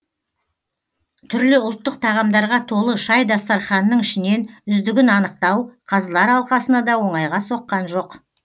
түрлі ұлттық тағамдарға толы шай дастарханының ішінен үздігін анықтау қазылар алқасына да оңайға соққан жоқ